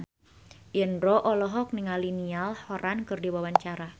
Indro olohok ningali Niall Horran keur diwawancara